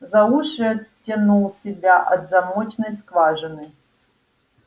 за уши оттянул себя от замочной скважины